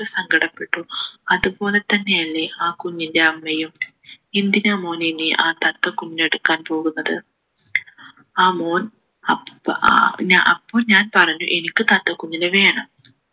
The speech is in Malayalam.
എത്ര സങ്കടപ്പെട്ടു അതുപോലെ തന്നെയല്ലേ ആ കുഞ്ഞിൻ്റെ അമ്മയും എന്തിനാ മോനെ നീ ആ തത്ത കുഞ്ഞിനെ എടുക്കാൻ പോകുന്നത് ആ മോൻ ആഹ് അഹ് അപ്പൊ ഞാൻ പറഞ്ഞു എനിക്ക് തത്ത കുഞ്ഞിനെ വേണം